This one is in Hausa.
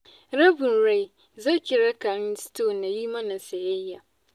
Rabin rai, zo ki raka ni store na yi mana sayayya.